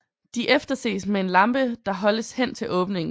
De efterses med en lampe der holdes hen til åbningen